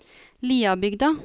Liabygda